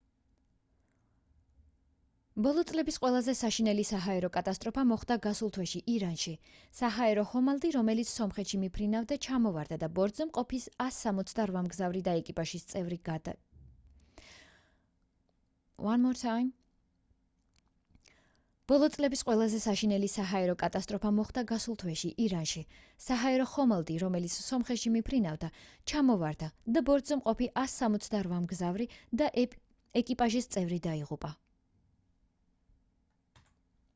ბოლო წლების ყველაზე საშინელი საჰაერო კატასტროფა მოხდა გასულ თვეში ირანში საჰაერო ხოლამდი რომელიც სომხეთში მიფრინავდა ჩამოვარდა და ბორტზე მყოფი 168 მგზავრი და ეკიპაჟის წევრები დაიღუპა